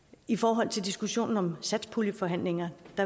i forhold til diskussionen om satspuljeforhandlinger